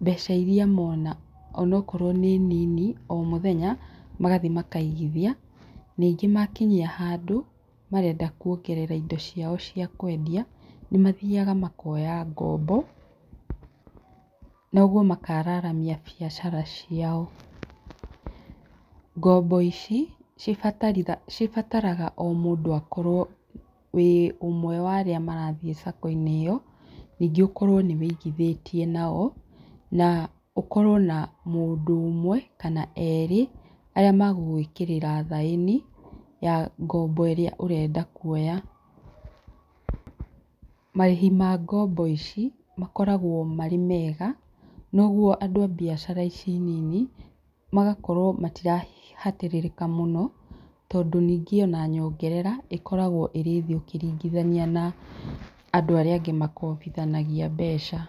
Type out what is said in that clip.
mbeca irĩa mona, onokorwo nĩ nini o mũthenya magathiĩ makaigithia, ningĩ makinya handũ marenda kuongerera indo ciao cia kwendia, nĩmathiaga makoya ngombo noguo makararamia biacara ciao, ngombo ici cibataraga o mũndũ akorwo wĩ ũmwe wa arĩa marathiĩ sacco-inĩ ĩyo, ningĩ ũkorwo nĩ ũigithĩtie nao, na ũkorwo na mũndũ ũmwe kana erĩ aria magũgũĩkĩrĩra thaĩni ya ngombo ĩrĩa ũrenda kuoya. Marĩhi ma ngombo ici makoragwo marĩ mega, noguo andũ a biacara ici nini magakorwo matirahatĩrĩrĩka mũno, tondũ ningĩ ona nyongerera ĩkoragwo ĩrĩ thĩ ũkĩringithania na andũ arĩa angĩ makobithanagia mbeca.